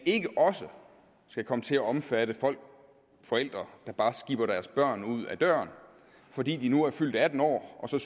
ikke også skal komme til at omfatte folk forældre der bare skiber deres børn ud ad døren fordi de nu er fyldt atten år og